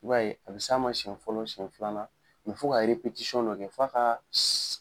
I b'a ye a bɛ s'a ma siɲɛ fɔlɔ siɲɛ filanan fo ka de kɛ f'a kaa s